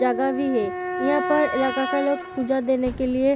जगह भी है यहाँ पर ज्यादातर लोग पूजा देने के लिए --